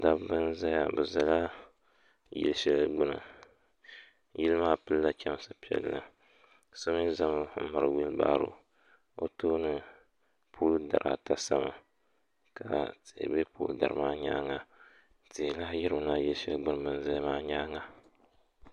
dabba n-zaya bɛ zala yilli shɛli gbuni yili maa pili-la chɛmsi piɛlli ka so mi za m-miri wilibaaro o tooni pooli dari ata sami ka tihi be pooli dari maa nyaaŋa tihi lahi yirimi na yili shɛli gbuni bɛ ni zaya maa nyaaŋa